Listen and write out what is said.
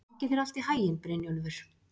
Gangi þér allt í haginn, Brynjólfur.